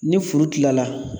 Ni furu tila la